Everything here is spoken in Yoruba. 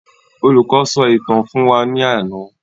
Olùkọ sọ ìtàn fún wa ní àna